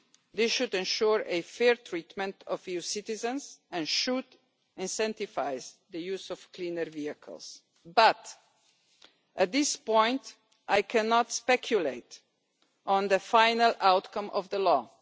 This should ensure a fair treatment of EU citizens and should incentivise the use of cleaner vehicles, but, at this point, I cannot speculate on the final outcome of the law.